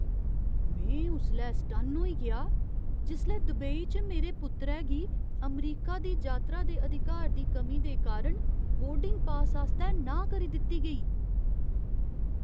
में उसलै सटन्न होई गेआ जिसलै दुबई च मेरे पुत्तरै गी अमरीका दी जातरा दे अधिकार दी कमी दे कारण बोर्डिंग पास आस्तै नांह् करी दित्ती गेई।